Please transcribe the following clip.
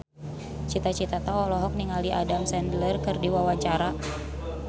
Cita Citata olohok ningali Adam Sandler keur diwawancara